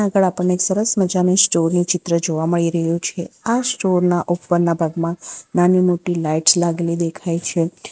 અહીં આગળ આપણને એક સરસ મજાની સ્ટોર નું ચિત્ર જોવા મળી રહ્યું છે આ સ્ટોર ના ઉપરના ભાગમાં નાની મોટી લાઈટ્સ લાગેલી દેખાય છે.